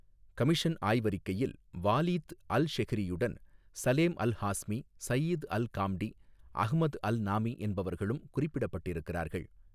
Commission ஆய்வறிக்கையில் Waleed அல்ஷெஹ்ரியுடன், Salem Alhazmi, Saeed Alghamdi, Ahmed Alnami, என்பவர்களும் குறிப்பிடப்பட்டிருக்கிறார்கள்.